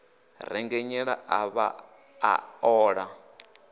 rengenyela a vhaḓa a ola